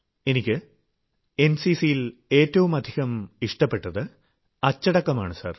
എനിക്ക് എൻസിസിയിൽ ഏറ്റവുമധികം ഇഷ്ടപ്പെട്ടത് അച്ചടക്കമാണു സർ